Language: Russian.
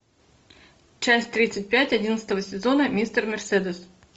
часть тридцать пять одиннадцатого сезона мистер мерседес